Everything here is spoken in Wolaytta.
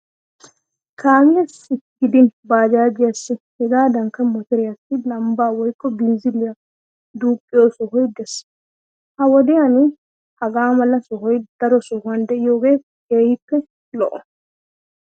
Kaamiyassi gidin baajaajiyassi hegaadankka motoriyassi lambbaa woykko binziliya duuqqiyo sohoy de'ees. Ha"i wodiyan hagaa mala sohoy daro sohuwan de'iyogee keehippe lo"o.